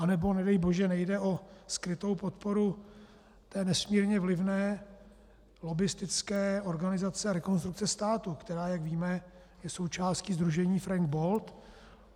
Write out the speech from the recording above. Anebo, nedej bože, nejde o skrytou podporu té nesmírně vlivné lobbistické organizace Rekonstrukce státu, která, jak víme, je součástí sdružení Frank Bold?